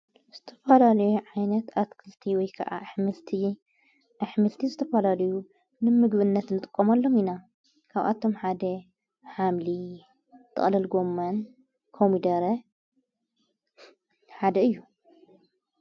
ዝተፍላልዩ ዓይነት ኣትክልቲ ወይከዓ ኣኅምልቲ ዝተፋላልዩ ንምግብነት ንጥቆም ኣሎም ኢና ካብኣቶም ሓደ ኃምሊ ጠቕለል ጎምን ኮሚደረ ሓደ እዩ::